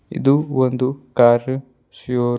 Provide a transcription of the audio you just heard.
ಇದು ಒಂದು car show --